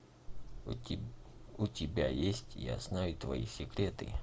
у тебя есть я знаю твои секреты